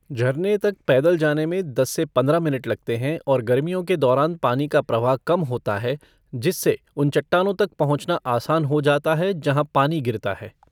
झरने तक पैदल जाने में दस से पंद्रह मिनट लगते हैं और गर्मियों के दौरान पानी का प्रवाह कम होता है, जिससे उन चट्टानों तक पहुँचना आसान हो जाता है जहाँ पानी गिरता है।